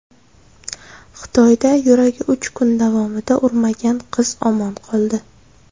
Xitoyda yuragi uch kun davomida urmagan qiz omon qoldi.